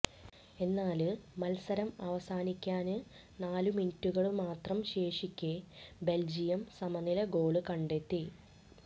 എന്നാല് മത്സരം അവസാനിക്കാന് നാലു മിനിറ്റുകള് മാത്രം ശേഷിക്കെ ബെല്ജിയം സമനില ഗോള് കണ്ടെത്തി